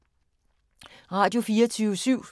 Radio24syv